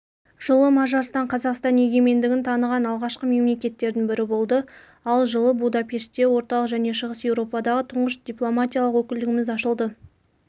жылы мажарстан қазақстан егемендігін таныған алғашқы мемлекеттердің бірі болды ал жылы будапеште орталық және шығыс еуропадағы тұңғыш дипломатиялық өкілдігіміз ашылды